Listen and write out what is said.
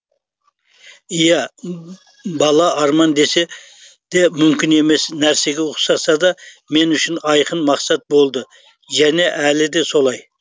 ия бала арман деседе мүмкін емес нәрсеге ұқсасада мен үшін айқын мақсат болды және әлі де солай